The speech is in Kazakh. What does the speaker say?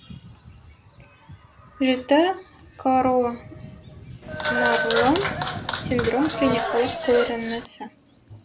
жіті коронарлы синдром клиникалық көрінісі